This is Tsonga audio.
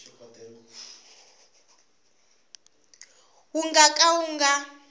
wu nga ka wu nga